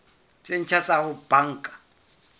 tse ntjha tsa ho banka